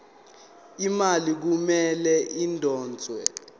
imali kumele idonswe